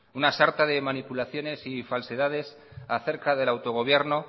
una sarta de manipulaciones y falsedades acerca del autogobierno